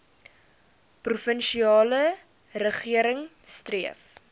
provinsiale regering streef